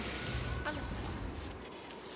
alice's